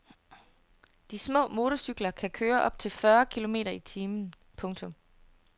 De små motorcykler kan køre op til fyrre kilometer i timen. punktum